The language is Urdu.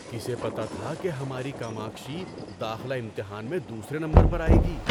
کسے پتہ تھا کہ ہماری کاماکشی داخلہ امتحان میں دوسرے نمبر پر آئے گی؟